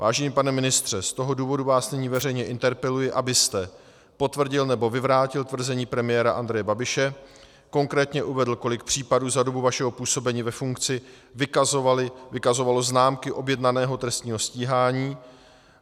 Vážený pane ministře, z toho důvodu vás nyní veřejně interpeluji, abyste potvrdil nebo vyvrátil tvrzení premiéra Andreje Babiše, konkrétně uvedl, kolik případů za dobu vašeho působení ve funkci vykazovalo známky objednaného trestního stíhání.